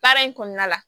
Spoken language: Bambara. Baara in kɔnɔna la